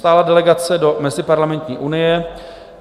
Stálá delegace do Meziparlamentní unie.